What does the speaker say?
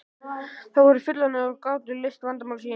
Þau voru fullorðin og gátu leyst vandamál sín.